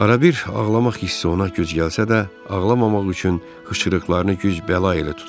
Arabir ağlamaq hissi ona güc gəlsə də, ağlamamaq üçün hıçqırıqlarını güc-bəla ilə tuturdu.